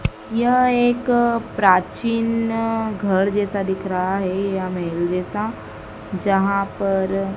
यह एक प्राचीन घर जैसा दिख रहा है या महल जैसा जहां पर--